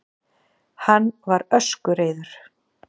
Hann var öskureiður.